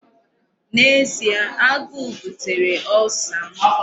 N'ezie, agụụ butere Ulcer m.